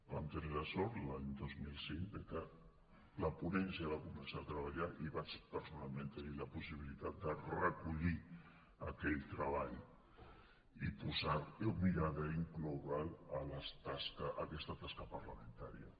vam tenir la sort l’any dos mil cinc que la ponència va començar a treballar i vaig personalment tenir la possibilitat de recollir aquell treball i mirar d’incloure’l a aquesta tasca parlamentària